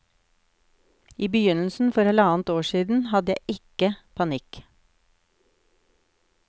I begynnelsen, for halvannet år siden, hadde jeg ikke panikk.